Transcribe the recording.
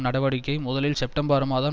நடவடிக்கை முதலில் செப்டம்பர் மாதம்